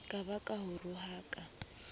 ka ba ke o rohaka